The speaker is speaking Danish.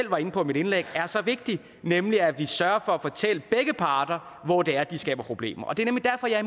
var inde på i mit indlæg er så vigtig nemlig at vi sørger for at fortælle begge parter hvor det er de skaber problemer det er nemlig derfor jeg